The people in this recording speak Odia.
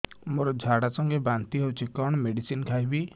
ମୋର ଝାଡା ସଂଗେ ବାନ୍ତି ହଉଚି କଣ ମେଡିସିନ ଖାଇବି